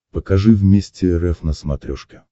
покажи вместе рф на смотрешке